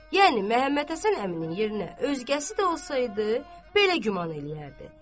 Yəni Məhəmməd Həsən əminin yerinə özgəsi də olsaydı, belə güman eləyərdi.